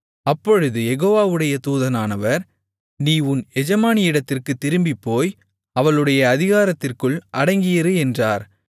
அப்பொழுது யெகோவாவுடைய தூதனானவர் நீ உன் எஜமானியிடத்திற்குத் திரும்பிப்போய் அவளுடைய அதிகாரத்திற்குள் அடங்கியிரு என்றார்